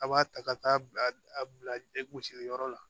A b'a ta ka taa bila a bila gosili yɔrɔ la